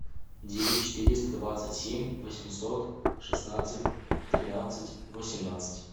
девять четыреста двадцать семь восемьсот шестнадцать тринадцать восемнадцать